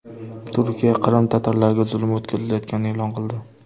Turkiya Qrim tatarlariga zulm o‘tkazilayotganini e’lon qildi.